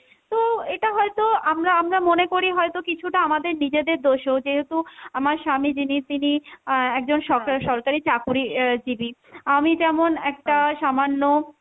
তো এটা হয়তো আমরা আমরা মনে করি হয়তো কিছুটা আমাদের নিজেদের দোষও যেহেতু আমার স্বামী যিনি তিনি আহ একজন সকরা~ সরকারি চাকরি আহ জীবী আমি যেমন একটা সামান্য,